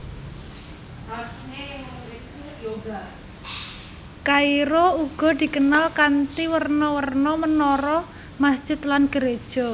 Kairo uga dikenal kanthi werna werna menara masjid lan geréja